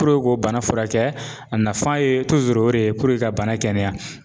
Puruke k'o bana fura kɛ a nafan ye o de ye puruke ka bana kɛnɛya.